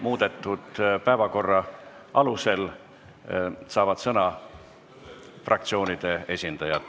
Muudetud päevakorra alusel saavad sõna fraktsioonide esindajad.